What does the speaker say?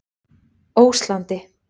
Óslandi